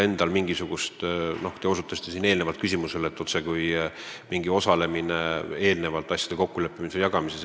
Te viitasite enne, otsekui oleks olnud mingi osalemine eelnevas asjade kokkuleppimises või jagamises.